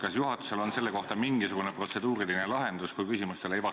Kas juhatusel on selle kohta, kui küsimustele ei vastata, mingisugune protseduuriline lahendus?